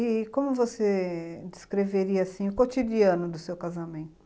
E como você descreveria assim, o cotidiano do seu casamento?